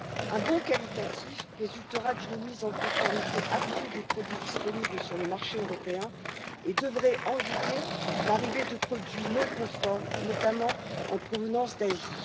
Un bond qualitatif résultera d'une mise en conformité accrue des produits disponibles sur le marché européen et devrait endiguer l'arrivée de produits non conformes, notamment en provenance d'Asie.